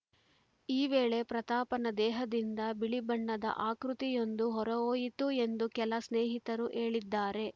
ಈ ವೇಳೆ ಪ್ರತಾಪ್‌ನ ದೇಹದಿಂದ ಬಿಳಿಬಣ್ಣದ ಆಕೃತಿಯೊಂದು ಹೊರಹೋಯಿತು ಎಂದು ಕೆಲ ಸ್ನೇಹಿತರು ಹೇಳಿದ್ದಾರೆ